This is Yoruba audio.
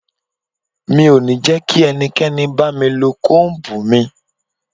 Mi ò ní jẹ́ kí ẹnikẹ́ni bá mi lo Kóm̀bù mi.